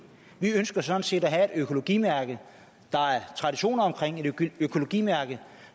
vi ønsker sådan set at have et økologimærke der er traditioner omkring og et økologimærke